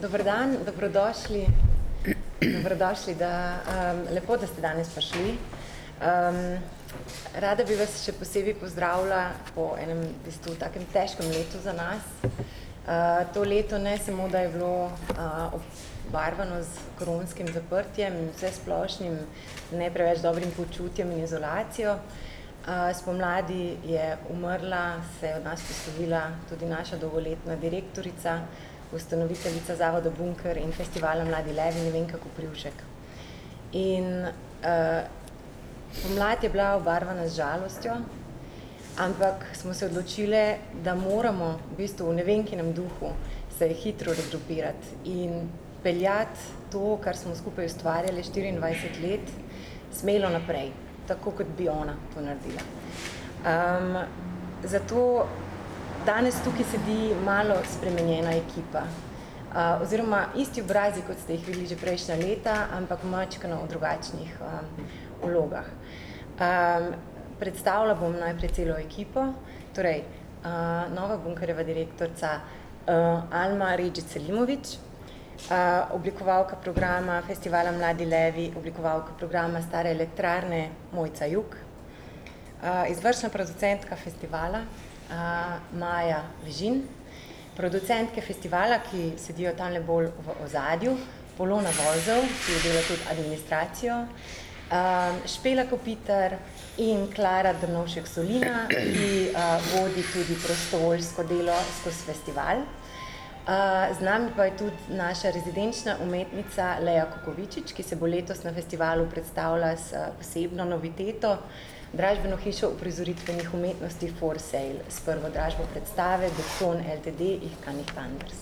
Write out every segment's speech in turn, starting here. dober dan, dobrodošli , dobrodošli v, lepo da, ste danes prišli. rada bi vas še posebej pozdravila po enem v bistvu takem težkem letu za nas. to leto ne samo, da je bilo, obarvano s koronskim zaprtjem in vsesplošnim ne preveč dobrim počutjem in izolacijo. spomladi je umrla, se od nas poslovila tudi naša dolgoletna direktorica, ustanoviteljica zavoda Bunker in festivala Mladi Levi Nevenka Koprivšek. In, pomlad je bila obarvana z žalostjo, ampak smo se odločile, da moramo v bistvu v Nevenkinem duhu se hitro regrupirati in peljati to, kar smo skupaj ustvarjali štiriindvajset let, smelo naprej. Tako, kot bi ona to naredila. zato danes tukaj sedi malo spremenjena ekipa. oziroma isti obrazi, kot ste jih videli že prejšnja leta, ampak majčkeno v drugačnih, vlogah. predstavila bom najprej celo ekipo, torej, nova Bunkerjeva direktorica, Alma Redžić Selimović, oblikovalka programa festivala Mladi levi, oblikovalka programa Stara elektrarna, Mojca Jug, izvršna producentka festivala, Maja Vižin, producentke festivala, ki sedijo tamle bolj v ozadju, Polona Vozel, ki dela tudi administracijo, Špela Kopitar, in Klara Drnovšek Solina, ki, vodi tudi prostovoljsko delo skozi festival. z nami pa je tudi naša rezidenčna umetnica Lea Kukovičič, ki se bo letos na festivalu predstavila s posebno noviteto, dražbeno hišo uprizoritvenih umetnosti For sale s prvo dražbo predstave Beton Ltd. Ich kann nicht anders.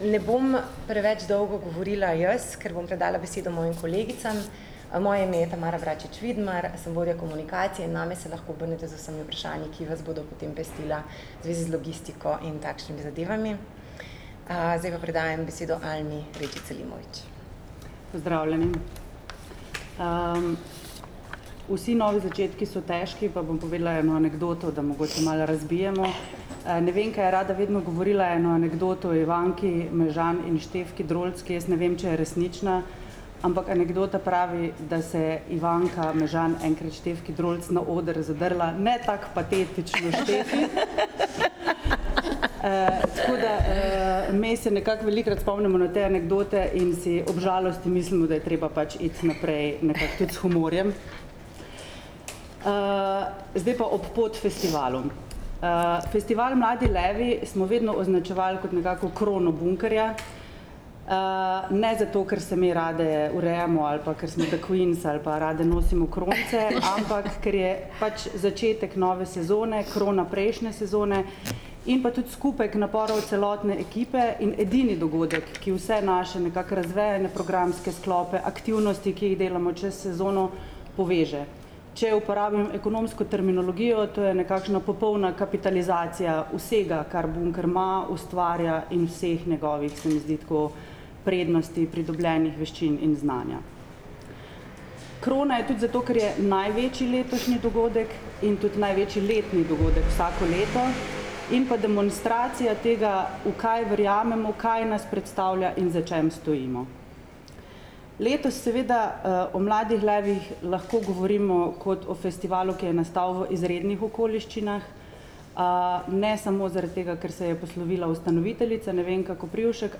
ne bom preveč dolgo govorila jaz, ker bom predala besedo mojim kolegicam, moje ime je Tamara Bračič Vidmar, sem vodja komunikacije in name se lahko obrnete z vsemi vprašanji, ki vas bodo potem pestila v zvezi z logistiko in takšnimi zadevami. zdaj pa predajam besedo Almi Redžić Selimović. Pozdravljeni, vsi novi začetki so težki pa bom povedala eno anekdoto, da mogoče malce razbijemo, Nevenka je rada vedno govorila eno anekdoto o Ivanki Mežan in Štefki Drolc, ki jaz ne vem, če je resnična, ampak anekdota pravi, da se je Ivanka Mežan enkrat Štefki Drolc na oder zadrla: "Ne tako patetično, Štefi." tako da, me se nekako velikokrat spomnimo na te anekdote in si ob žalosti mislimo, da je treba pač iti naprej nekako tudi s humorjem. zdaj pa ob pot festivalu. festival Mladi levi smo vedno označevali kot nekako krono Bunkerja. ne zato, ker se me rade urejamo ali pa ker smo the queens ali pa rade nosimo kronice , ampak ker je pač začetek nove sezone, krona prejšnje sezone. In pa tudi skupek naporov celotne ekipe in edini dogodek, ki vse naše nekako razvejane programske sklope, aktivnosti, ki jih delamo, čez sezono, poveže. Če uporabim ekonomsko terminologijo, to je nekakšna popolna kapitalizacija vsega, kar Bunker ima, ustvarja in vseh njegovih, se mi zdi, tako prednosti, pridobljenih veščin in znanja. Krona je tudi zato, ker je največji letošnji dogodek in tudi največji letni dogodek vsako leto in pa demonstracija tega, v kaj verjamemo, kaj nas predstavlja in za čim stojimo. Letos seveda, o Mladih levih lahko govorimo kot o festivalu, ki je nastal v izrednih okoliščinah. ne samo zaradi tega, ker se je poslovila ustanoviteljica, Nevenka Koprivšek,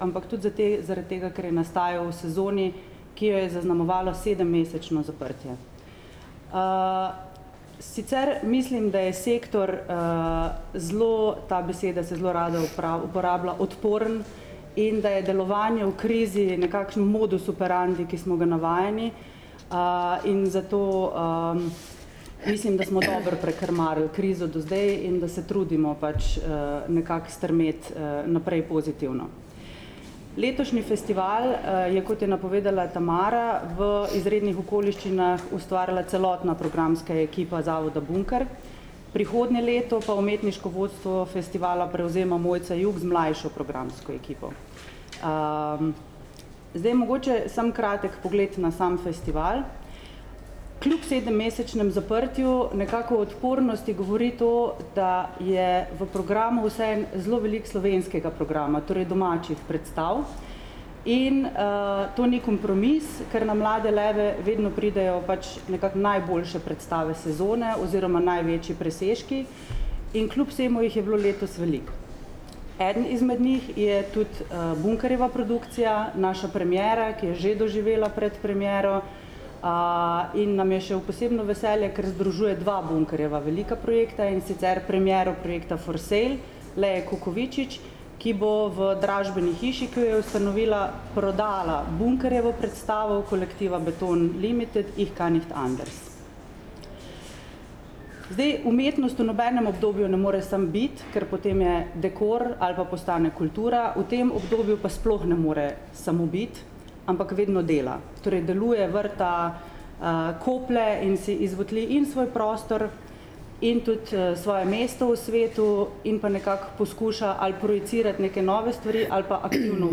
ampak tudi zaradi tega, ker je nastajal v sezoni, ki jo je zaznamovalo sedemmesečno zaprtje. sicer mislim, da je sektor, zelo, ta beseda se zelo rada uporablja, odporen in da je delovanje v krizi nekakšen modus operandi, ki smo ga navajeni. in zato, mislim, da smo dobro prekrmarili krizo do zdaj in da se trudimo pač nekako strmeti, naprej pozitivno. Letošnji festival, je, kot je napovedala Tamara, v izrednih okoliščinah ustvarila celotna programska ekipa zavoda Bunker. Prihodnje leto pa umetniško vodstvo festivala prevzema Mojca Jug z mlajšo programsko ekipo. zdaj mogoče samo kratek pogled na sam festival. Kljub sedemmesečnemu zaprtju nekako odpornosti govori to, da je v programu vseeno zelo veliko slovenskega programa, torej domačih predstav. In, to ni kompromis, ker na Mlade leve vedno pridejo pač nekako najboljše predstave sezone oziroma največji presežki in kljub vsemu jih je bilo letos veliko. Eden izmed njih je tudi, Bunkerjeva produkcija naša premiera, ki je že doživela predpremiero. in nam je še v posebno veselje, ker združuje dva Bunkerjeva velika projekta, in sicer premiero projekta For sale Lee Kukovičič, ki bo v dražbeni hiši, ki jo je ustanovila, prodala Bunkerjevo predstavo kolektiva Beton limited Ich kann nicht anders. Zdaj umetnost v nobenem obdobju ne more samo biti, ker potem je dekor ali pa postane kultura, v tem obdobju pa sploh ne more samo biti, ampak vedno dela. Torej deluje, vrta, koplje in si iz in svoj prostor in tudi, svoje mesto v svetu in pa nekako poskuša ali projicirati neke nove stvari ali pa aktivno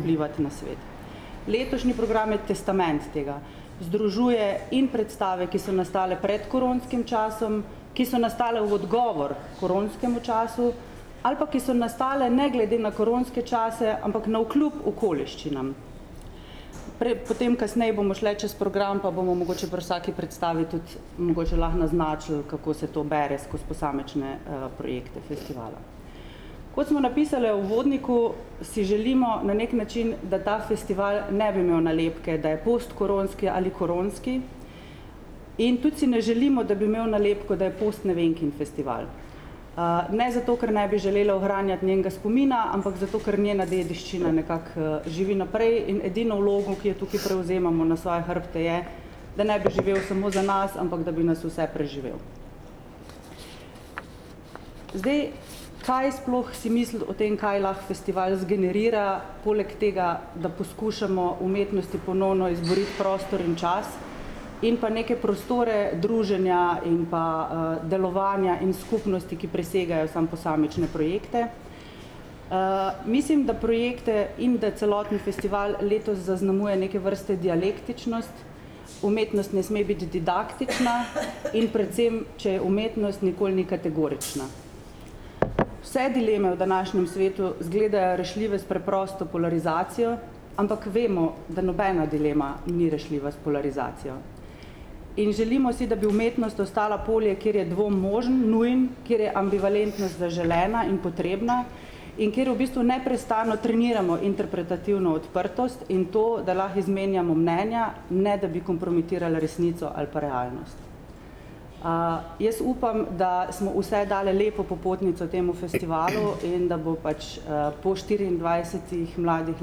vplivati na svet. Letošnji program je testament tega. Združuje in predstave, ki so nastale pred koronskim časom, ki so nastale v odgovor koronskemu času ali pa ki so nastale ne glede na koronske čase, ampak navkljub okoliščinam. Pred potem kasneje bomo šli čez program pa bomo mogoče pri vsaki predstavi tudi mogoče lahko naznačili, kako se to bere skozi posamične, projekte festivala. Kot smo napisale v uvodniku, si želimo na neki način, da ta festival ne bi imel nalepke, da je postkoronski ali koronski, in tudi si ne želimo, da bi imel nalepke, da je post-Nevenkin festival. ne zato, ker ne bi želele ohranjati njenega spomina, ampak zato, ker njena dediščina nekako, živi naprej in edino vlogo, ki jo tukaj prevzemamo na svoje hrbte, je, da ne bi živel samo za nas, ampak da bi nas vse preživel. Zdaj, kaj sploh si misliti o tem, kaj lahko festival zgenerira poleg tega, da poskušamo umetnosti ponovno izboriti prostor in čas in pa neke prostore druženja in pa, delovanja in skupnosti, ki presegajo samo posamične projekte. mislim, da projekte in da celoten festival letos zaznamuje neke vrste dialektičnost. Umetnost ne sme biti didaktična in predvsem, če je umetnost, nikoli ni kategorična. Vse dileme v današnjem svetu izgledajo rešljive s preprosto polarizacijo, ampak vemo, da nobena dilema ni rešljiva s polarizacijo. In želimo si, da bi umetnost ostala polje, kjer je dvom možen, nujen, kjer je ambivalentnost zaželena in potrebna in kjer v bistvu neprestano treniramo interpretativno odprtost in to, da lahko izmenjamo mnenja, ne da bi kompromitirali resnico ali pa realnost. jaz upam, da smo vse dale lepo popotnico temu festivalu in da bo pač, po štiriindvajsetih Mladih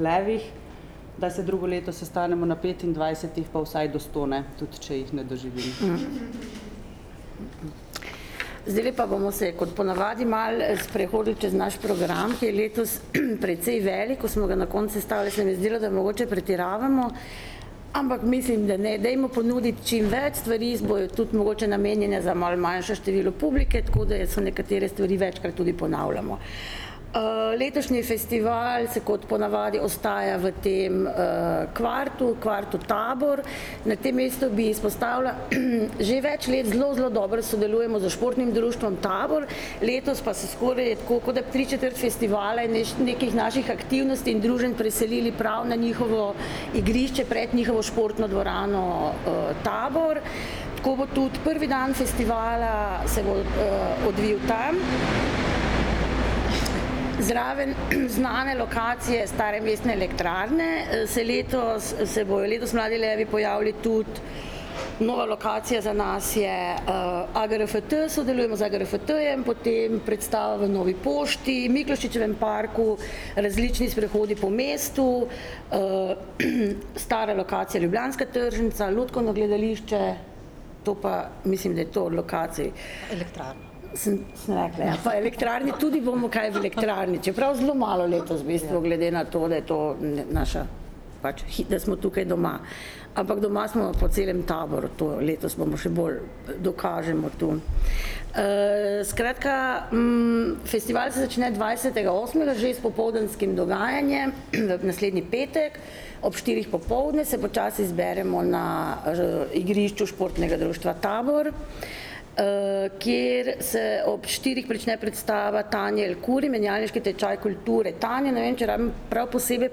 levih, da se drugo leto sestanemo na petindvajsetih pa vsaj do sto, ne, tudi če jih ne doživim. Zdaj bi pa bomo se kot ponavadi malo sprehodili čez naš program, ki je letos precej velik, ko smo ga na koncu sestavile, se mi je zdelo, da mogoče pretiravamo, ampak mislim, da ne, dajmo ponuditi čim več stvari, bojo tudi mogoče namenjene za malo manjše število publike, tako da so nekatere stvari večkrat tudi ponavljamo. letošnji festival se kot ponavadi ostaja v tem, kvartu, kvartu Tabor. Na tem mestu bi izpostavila že več let zelo, zelo dobro sodelujemo s športnim društvom Tabor, letos pa se skoraj tako, kot da bi tri četrt festivala nekih naših aktivnosti in druženj preselili prav na njihovo igrišče pred njihovo športno dvorano, Tabor, tako bo tudi prvi dan festivala se bo, odvil tam. Zraven znane lokacije, Stare mestne elektrarne, se letos se bojo letos Mladi levi pojavili tudi, nova lokacija za nas je AGRFT, sodelujemo z AGRFT-jem in potem predstava v Novi pošti, Miklošičevem parku, različni sprehodi po mestu, stara lokacija Ljubljanska tržnica, Lutkovno gledališče, to pa mislim, da je to od lokacij. Elektrarna. Sem, sem rekla, ja, pa elektrarni tudi bomo kaj v elektrarni, čeprav zelo malo letos v bistvu glede nato, da je to naša pač da smo tukaj doma. Ampak doma smo po celem Taboru, to letos bomo še bolj, dokažemo to, skratka, festival se začne dvajsetega osmega že s popoldanskim dogajanjem naslednji petek. Ob štirih popoldne se počasi zberemo na, igrišču Športnega društva Tabor, kjer se ob štirih prične predstava Tanje Elkuri, Menjalniški tečaj kulture. Tanje ne vem, če rabim prav posebej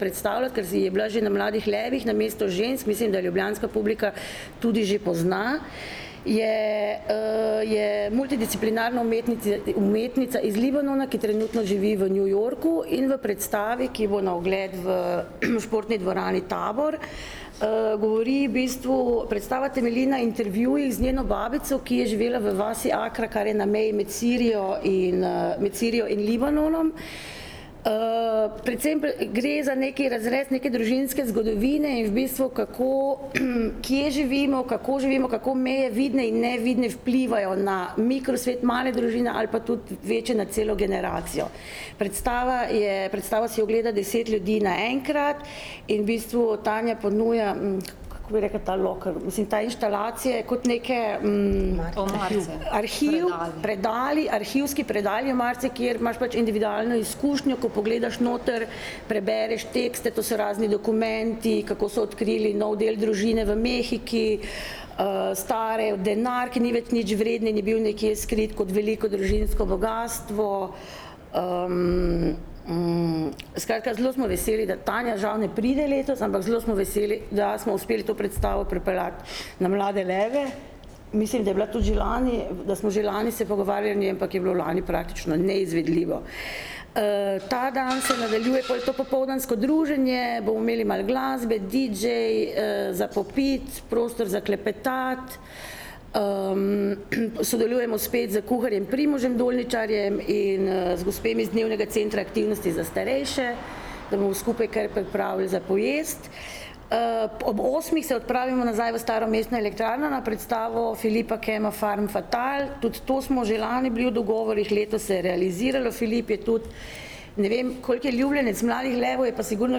predstaviti, ker je bila že na Mladih levih, na Mestu žensk, mislim, da ljubljanska publika tudi že pozna. Je, je multidisciplinarna umetnica, umetnica iz Libanona, ki trenutno živi v New Yorku, in v predstavi, ki bo na ogled v Športni dvorani Tabor, govori v bistvu, predstava temelji na intervjujih z njeno babico, ki je živela v vasi Akra, kar je na meji med Sirijo in, med Sirijo in Libanonom. predvsem gre za neki razrez neke družinske zgodovine in v bistvu, kako , kje živimo, kako živimo, kako meje, vidne in nevidne, vplivajo na mikrosvet male družine ali pa tudi večje na celo generacijo. Predstava je, predstavo si ogleda deset ljudi naenkrat in v bistvu Tanja ponuja, kako bi rekla, ta lokal, mislim ta inštalacija je kot neki, arhiv, predali, arhivski predali, omarice, kjer imaš pač individualno izkušnjo, ko pogledaš noter, prebereš tekste, to so razni dokumenti, kako so odkrili nov del družine v Mehiki, star denar, ki ni več nič vreden in je bil nekje skrit kot veliko družinsko bogastvo. skratka, zelo smo veseli, da, Tanja žal ne pride letos, ampak zelo smo veseli, da smo uspeli to predstavo pripeljati na Mlade leve. Mislim, da je bila tudi že lani, da smo že lani se pogovarjali, ampak je bilo lani praktično neizvedljivo. ta dan se nadaljuje pol v popoldansko druženje, bomo imeli malo glasbe, didžej, za popiti, prostor za klepetati. sodelujemo spet s kuharjem Primožem Dolničarjem in, z gospemi iz Dnevnega centra aktivnosti za starejše. Da bomo skupaj kaj pripravili za pojesti. ob osmih se odpravimo nazaj v Staro mestno elektrarno na predstavo Filipa Kenofa Farm fatale, tudi to smo že lani bili v dogovorih, letos se je realiziralo, Filip je tudi, ne vem, koliko je ljubljenec Mladih levov, je pa sigurno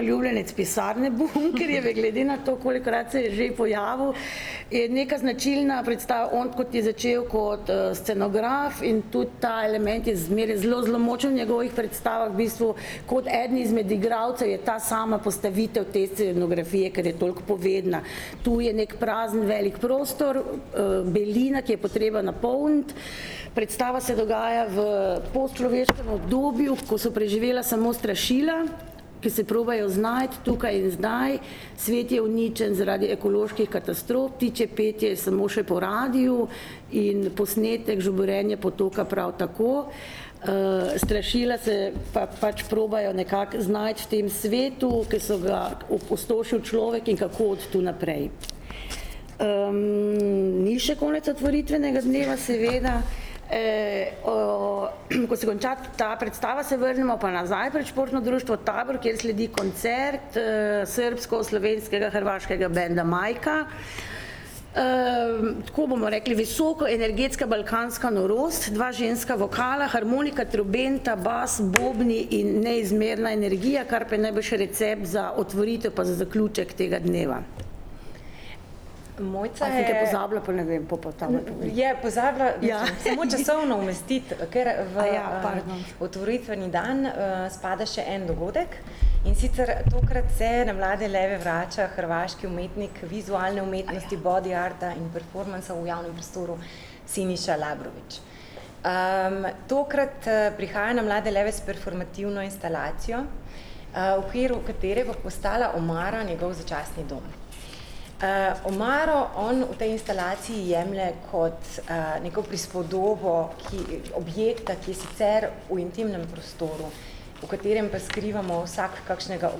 ljubljenec pisarne Bunkerjeve glede na to, kolikokrat se je že pojavil, in je neka značilna on, kot je začel kot, scenograf in tudi ta element je zmeraj zelo, zelo močno v njegovih predstavah, v bistvu kot eden izmed igralcev je ta sama postavitev te scenografije, ker je toliko povedna. Tu je neki prazen velik prostor, belina, ki jo bo treba napolniti. Predstava se dogaja v polčloveškem obdobju, ko so preživela samo strašila, ki se probajo znajti tukaj in zdaj. Svet je uničen zaradi ekoloških katastrof, ptičje petje je samo še po radiu in posnetek, žuborenje potoka, prav tako. strašila se pa pač probajo nekako znajti v tem svetu, ki so ga opustošili človek in kako od tu naprej. ni še konec otvoritvenega dneva, seveda. ko se konča ta predstava, se vrnemo pa nazaj pred športno dvorano Tabor, kjer sledi koncert, srbsko-slovensko-hrvaškega benda Majka. tako bomo rekli, visoka energetska balkanska norost, dva ženska vokala, harmonika, trobenta, bas, bobni in neizmerna energija, kar pa je najbrž recept za otvoritev pa za zaključek tega dneva. Mojca je ... je pozabila samo časovno umestiti. A samo kaj pozabila pa ne vem katera v ta otvoritveni dan, spada še en dogodek. pardon. In sicer tokrat se na Mlade leve vrača hrvaški umetnik vizualne umetnosti body arta in performansa v javnem prostoru Siniša Labrović. tokrat, prihaja na Mlade leve s performativno instalacijo, v okviru katere bo postala omara njegov začasni dom. omaro on v tej instalaciji jemlje kot, neko prispodobo, ki objekta, ki je sicer v intimnem prostoru, v katerem pa skrivamo vsak kakšnega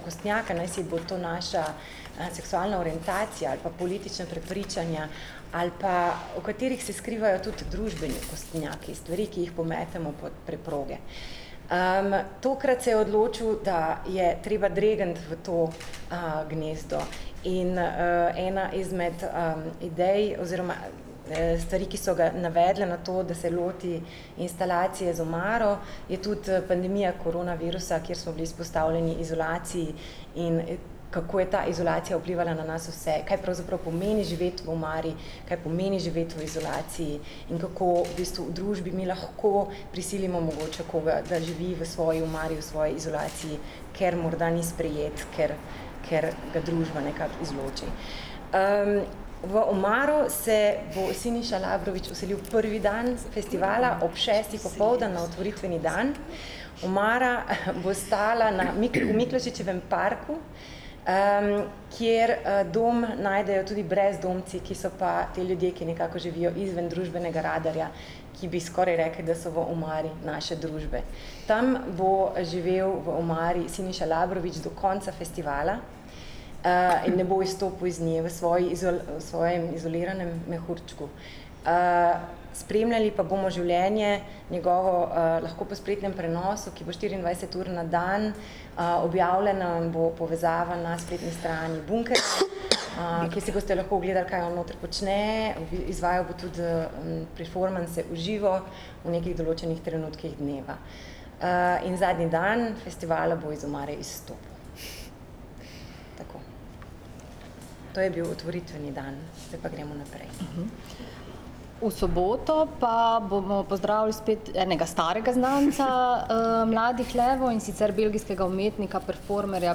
okostnjaka, naj si bo to naša, seksualna orientacija ali pa politična prepričanja ali pa, v katerih se skrivajo tudi družbeni okostnjaki, stvari, ki jih pometemo pod preproge. tokrat se je odločil, da je treba dregniti v to, gnezdo. In, ena izmed, idej oziroma, stvari, ki so ga navedle na to, da se loti instalacije z omaro, je tudi, pandemija koronavirusa, kjer so bili izpostavljeni izolaciji in, kako je ta izolacija vplivala na nas vse, kaj pravzaprav pomeni živeti v omari. Kaj pomeni živeti v izolaciji in kako v bistvu v družbi mi lahko prisilimo mogoče koga, da živi v svoji omari v svoji izolaciji, ker morda ni sprejet, ker, ker ga družba nekako izloči, V omaro se bo Siniša Labrović vselil prvi dan festivala ob šestih popoldan na otvoritveni dan. Omara bo stala na Miklošičevem parku, kjer, dom najdejo tudi brezdomci, ki so pa ti ljudje, ki nekako živijo izven družbenega radarja, ki, bi skoraj rekli, da so v omari naše družbe. Tam bo živel v omari Siniša Labrović do konca festivala, in ne bo izstopil iz nje v svoji v svojem izoliranem mehurčku. spremljali pa bomo življenje njegove, lahko po spletnem prenosu, ki bo štiriindvajset ur na dan, objavljena bo povezava na spletni strani Bunkerja , kjer si boste lahko ogledali, kaj on noter počne, izvajal bo tudi, performanse v živo v nekih določnih trenutkih dneva. in zadnji dan festivala bo iz omare izstopil. Tako. To je bil otvoritveni dan, zdaj pa gremo naprej. V soboto pa bomo pozdravili spet enega starega znanca, Mladih levov, in sicer belgijskega umetnika performerja,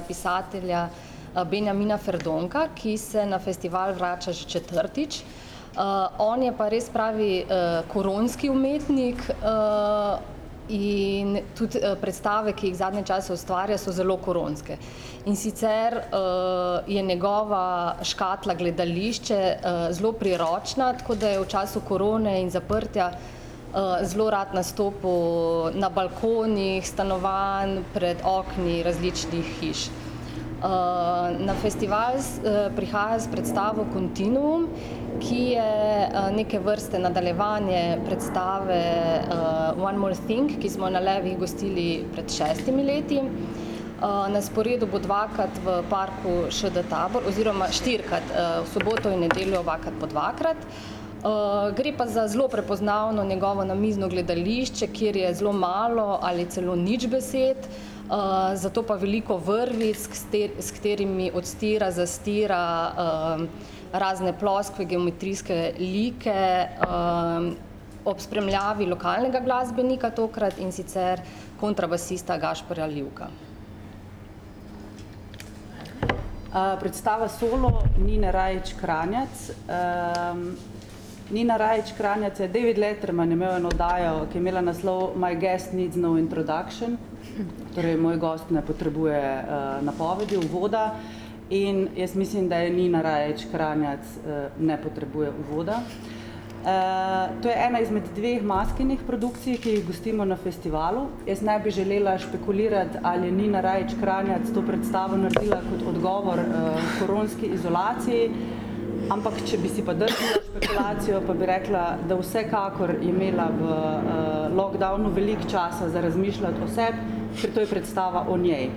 pisatelja, Benjamina Ferdonka, ki se na festival vrača že četrtič. on je pa res pravi koronski umetnik, in tudi, predstave, ki jih zadnje čase ustvarja, so zelo koronske. In sicer, je njegova škatla gledališče, zelo priročna, tako da je v času korone in zaprtja, zelo rad nastopil na balkonih stanovanj, pred okni različnih hiš. na festival prihaja s predstavo Kontiniuum, ki je, neke vrste nadaljevanje predstave, One more thing, ki smo jo na Levih gostili pred šestimi leti. na sporedu bo dvakrat v parku ŠD Tabor oziroma štirikrat v soboto, nedeljo obakrat po dvakrat. gre pa za zelo prepoznavno njegovo namizno gledališče, kjer je zelo malo ali celo nič besed. zato pa veliko vrvic, s s katerimi odstira, zastira, razne ploskve, geometrijske like, ob spremljavi lokalnega glasbenika tokrat, in sicer kontrabasista Gašperja Livka. predstava solo Nine Rajić Kranjac, Nina Rajić Kranjac je, David Letterman je imel eno oddajo, ki je imela naslov My guest need no introduction, torej Moj gost ne potrebuje, napovedi, uvoda. In jaz mislim, da je Nina Rajić Kranjac, ne potrebuje uvoda. to je ena izmed dveh Maskinih produkcij, ki jih gostimo na festivalu, jaz ne bi želela špekulirati, ali je Nina Rajić Kranjac to predstavo naredila kot odgovor, koronski izolaciji, ampak če bi si pa drznila špekulacijo, pa bi rekla, da vsekakor je imela v, lockdownu veliko časa za razmišljati o sebi, ker to je predstava o njej.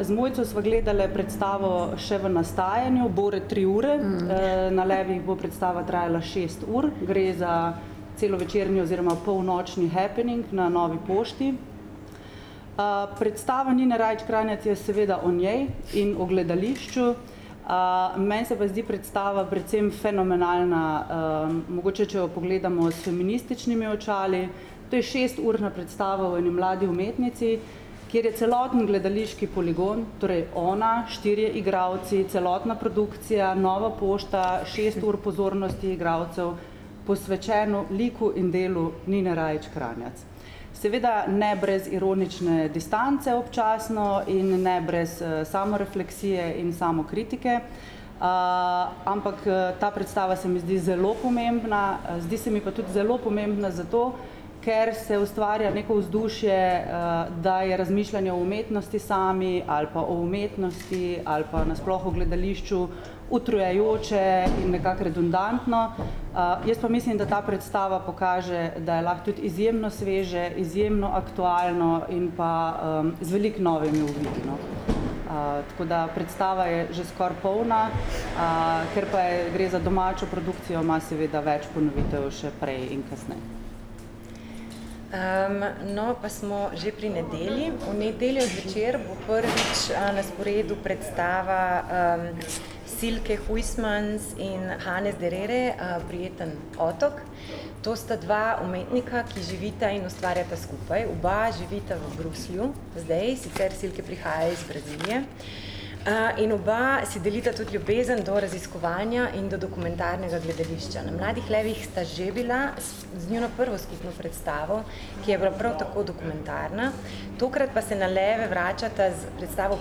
z Mojco sva gledali predstavo še v nastajanju bore tri ure, na Levih bo predstava trajala šest ur, gre za celovečerni oziroma polnočni happening na Novi pošti. predstava Nine Rajić Kranjac je seveda o njej in o gledališču, meni se pa zdi predstava predvsem fenomenalna, mogoče, če jo pogledamo s feminističnimi očali, to je šesturna predstava o eni mladi umetnici, kjer je celotni gledališki poligon torej ona, štirje igralci, celotna produkcija, Nova pošta, šest ur pozornosti igralcev posvečeno liku in delu Nine Rajić Kranjac. Seveda ne brez ironične distance občasno in ne brez, samorefleksije in samokritike. ampak, ta predstava se mi zdi zelo pomembna, zdi se mi pa tudi zelo pomembna zato, ker se ustvarja neko vzdušje, da je razmišljanje o umetnosti sami ali pa o umetnosti ali pa na sploh o gledališču utrujajoče in nekako redundantno. jaz pa mislim, da ta predstava pokaže, da lahko to izjemno sveže, izjemno aktualno in pa, z veliko novimi uvidi, no. tako da predstava je že skoraj polna, ker pa gre za domačo produkcijo, ma seveda več ponovitev že prej in kasneje. no, pa smo že pri nedelji, v nedeljo zvečer bo prvič, na sporedu predstava, Silke Huysmans in Hannes Dereere, Prijetni otok. To sta dva umetnika, ki živita in ustvarjata skupaj, oba živita v Bruslju zdaj, sicer Silke prihaja iz Brazilije. in oba si delita tudi ljubezen do raziskovanja in do dokumentarnega gledališča, na Mladih levih sta že bila z njuno prvo skupno predstavo, ki je bila prav tako dokumentarna. Tokrat pa se na Leve vračata s predstavo